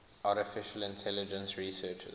artificial intelligence researchers